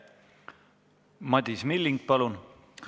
Madis Milling, palun!